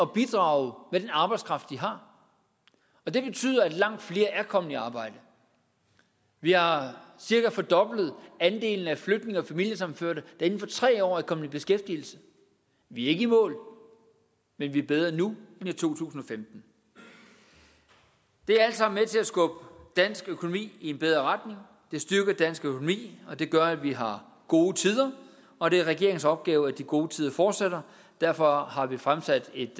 bidrage med den arbejdskraft de har og det betyder at langt flere er kommet i arbejde vi har cirka fordoblet andelen af flygtninge og familiesammenførte der inden for tre år er kommet i beskæftigelse vi er ikke i mål men vi er bedre nu end i to tusind og femten det er alt sammen med til at skubbe dansk økonomi i en bedre det styrker dansk økonomi og det gør at vi har gode tider og det er regeringens opgave at de gode tider fortsætter derfor har vi fremsat et